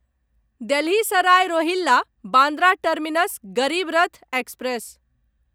Delhi Sarai Rohilla Bandra terminus Garib Rath express